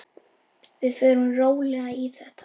Við förum rólega í þetta.